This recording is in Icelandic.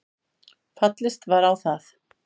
Fallist var á það